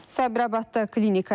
Sabirabadda klinika yanıb.